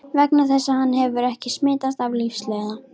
Vegna þess að hann hefur ekki smitast af lífsleiða.